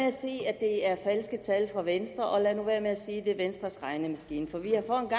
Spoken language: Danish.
at sige at det er falske tal fra venstre og lad nu være med at sige at det er venstres regnemaskine for vi har for